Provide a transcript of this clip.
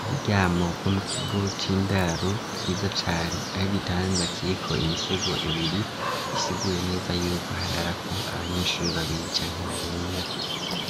Uburyamo bwo mu kigo c'indaro bwiza cane ari gitanda kiriko imisego ibiri isigure neza yuko harara ko abanyeshuri babiri cane barenga